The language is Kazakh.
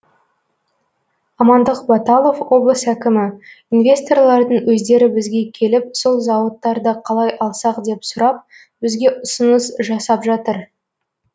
амандық баталов облыс әкімі инвесторлардың өздері бізге келіп сол зауыттарды қалай алсақ деп сұрап бізге ұсыныс жасап жатыр